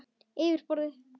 Yfir borðið.